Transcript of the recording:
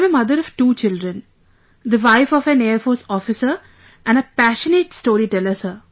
I am a mother of two children, the wife of an Air Force Officer and a passionate storyteller sir